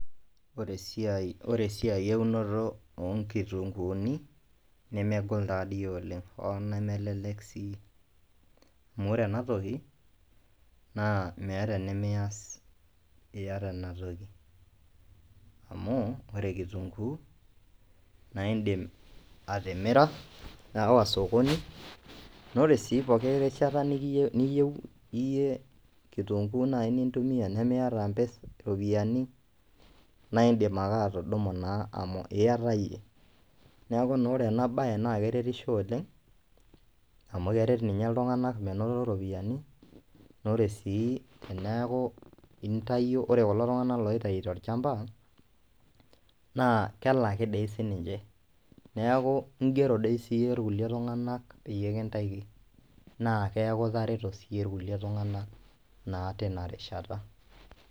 Ore esiai eeunoto oonkitunkuuni nemegol taadoi oleng hooo nemelelek sii amu ore ena toki meeta enemiyas iyata inatoki amu ore kitunkuu naa indiim atimira aawa sokoni naa ore siii pooki rishata nimirie niyieu iyie kitunkuu nintumiya nemeiata impisai ropiyiani naa indiim ake atudumu naa amu iyata iyie neeku naa ore ena baye naa keretisho oleng amu keret ninye iltung'anak menoto iropiyiani neeku ore sii teneku intayio ore kulo tung'anak oitayu tolchamba naa kelaki doi siininche neeku ingero doi siiyie kulie tung'anak peyie kintaikini naa keeku itareto siiyie kulie tung'anak naa tina rishata.